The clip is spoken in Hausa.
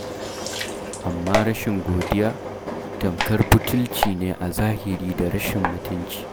Amma rashin godiya, tamkar butulci ne a zahiri da rashin mutunci.